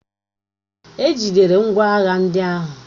E jidere ngwá agha ndị ahụ